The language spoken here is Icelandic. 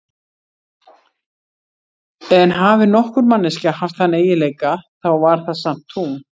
En hafi nokkur manneskja haft þann eiginleika, þá var það samt hún.